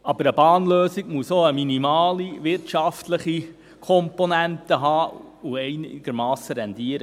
Eine Bahnlösung muss aber auch eine minimale wirtschaftliche Komponente haben und einigermassen rentieren.